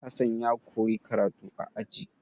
Hassan ya koyi karatu a aji.